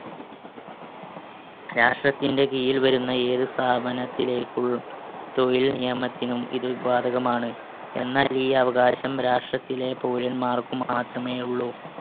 രാഷ്ട്രത്തിന്‍റെ കീഴിൽ വരുന്ന ഏതു സ്ഥാപനത്തിലേക്കും തൊഴിൽ നിയമത്തിനും ഇത് ബാധകമാണ്. എന്നാൽ ഈ അവകാശം രാഷ്ട്രത്തിലെ പൗരന്മാർക്ക് മാത്രമേ ഉള്ളു.